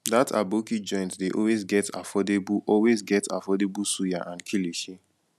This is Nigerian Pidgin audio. dat aboki joint dey always get affordable always get affordable suya and kilishi